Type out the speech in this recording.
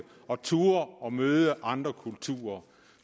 og turde møde andre kulturer